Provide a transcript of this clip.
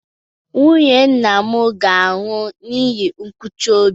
Nwunye nwanne nna m ga-anwụ n'ihi nkụchi obi.